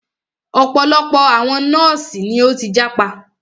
Ọ̀pọ̀lọpọ̀ àwọn nọ́ọ̀sì ni o tí jápa.